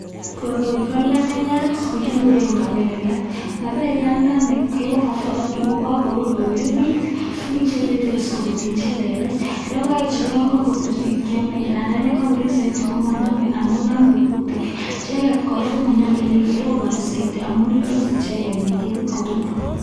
Koroi ko lokoyat nekikuren maberiat, maberiandani kebokokto totun ko korur kobiririt, mii chebiriren sikomiten che lelach, lokoechu ko yoon kobiririt kemin, ndandan yoon kobiririt soiti komonome amun nome kutik, icheket kora komonyolu eleroboni soiti amun nundos icheket en ketit kobekuu.